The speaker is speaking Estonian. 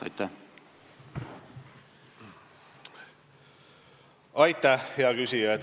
Aitäh, hea küsija!